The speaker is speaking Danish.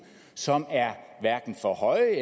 som er for høje